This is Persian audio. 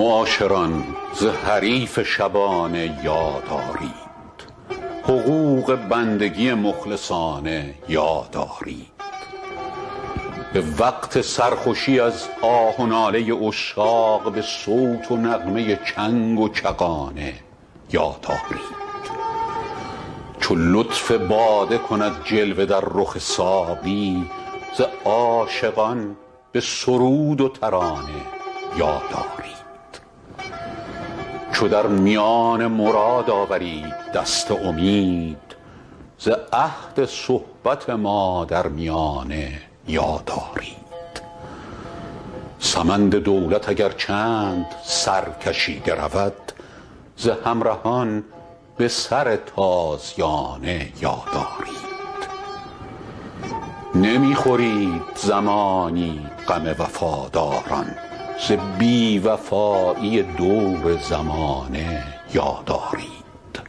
معاشران ز حریف شبانه یاد آرید حقوق بندگی مخلصانه یاد آرید به وقت سرخوشی از آه و ناله عشاق به صوت و نغمه چنگ و چغانه یاد آرید چو لطف باده کند جلوه در رخ ساقی ز عاشقان به سرود و ترانه یاد آرید چو در میان مراد آورید دست امید ز عهد صحبت ما در میانه یاد آرید سمند دولت اگر چند سرکشیده رود ز همرهان به سر تازیانه یاد آرید نمی خورید زمانی غم وفاداران ز بی وفایی دور زمانه یاد آرید